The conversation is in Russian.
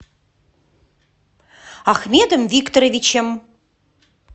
ахмедом викторовичем